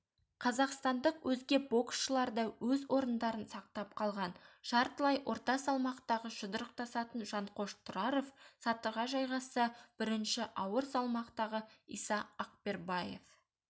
қазақстандық өзге боксшылар да өз орындарын сақтап қалған жартылай орта салмақта жұдырықтасатын жанқош тұраров сатыға жайғасса бірінш ауыр салмақтағы иса ақбербаев